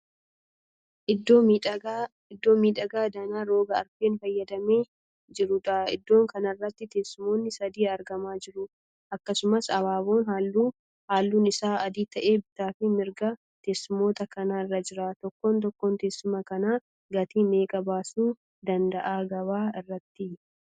Iddoo miidhagaa danaa roga arfeen faayyamee jiruudha. Iddoo kanarratti teessumoonni sadii argamaa jiru. Akkasumas abaaboon halluun isaa adii tahe bitaa fi mirga teessumoota kanaa irra jira. Tokkoon tokkoo teessuma kanaa gatii meeqa baasuu dandaha gabaa irratti?